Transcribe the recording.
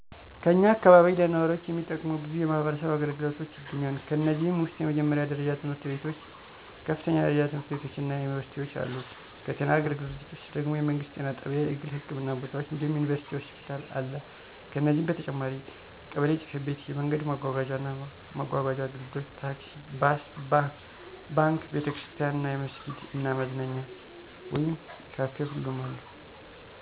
ከኛ አካባቢ ለነዋሪዎች የሚጠቅሙ በዙ የማህበረሰብ አገልግሎቶች ይገኛሉ። ከነዚህም ውስጥ የመጀመሪያ ደረጃ ትምህርት ቤቶች፣ ከፍተኛ ደረጃ ትምህርት ቤቶች እና ዩኒቨርሲቲዎች አሉ። ከጤና አገልግሎቶች ውስጥ ደግም የመንግስት ጤና ጣቢያ፣ የግል ህክምና ቦታዎች እንዲሁም ዩኒቨርሲቲ ሆስፒታል አለ። ከነዚህ በተጨማሪም ቀበሌ ጽ/ቤት፣ የመንገድ ማጓጓዣ እና መጓጓዣ አገልግሎቶች (ታክሲ፣ ባስ)፣ባንክ፣ ቤተ ክርስቲያን እና መስጊድ እና መዝናኛ ወይም ካፊ ሁሉም አሉ።